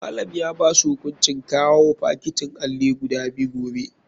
Malam ya basu hukuncin kawao fakitin alli guda biyu gobe.